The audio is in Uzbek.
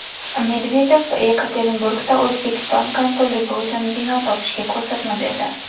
Medvedev Yekaterinburgda O‘zbekiston konsulligi uchun bino topishga ko‘rsatma berdi.